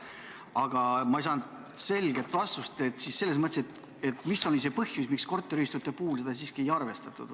Aga ma ei saanud selget vastust, mis oli põhjus, miks korteriühistute puhul seda siiski ei arvestatud.